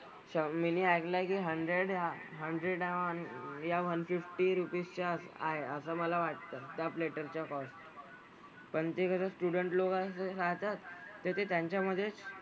अच्छा मीनी ऐकलंय की hundred hundred या one fifty rupees च्या आहे असं मला वाटतं. त्या platter चा cost. पण ते कसं student लोकांचं सांगतात तर ते त्यांच्यामधेच,